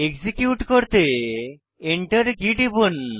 execute করতে Enter key টিপুন